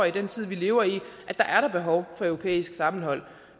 i den tid vi lever i er behov for europæisk sammenhold